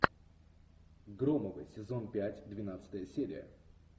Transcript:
громовы сезон пять двенадцатая серия